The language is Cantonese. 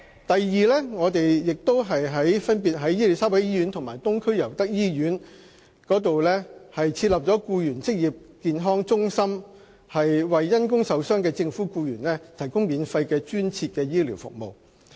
第二，政府在伊利沙伯醫院和東區尤德夫人那打素醫院設立政府僱員職康中心，為因公受傷的政府僱員提供免費的專設醫療服務。